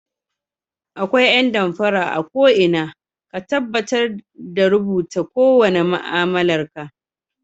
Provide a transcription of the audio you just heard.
Akwai ƴan damfara a ko'ina ka tabbatar da rubuta kowane ma'amalar ka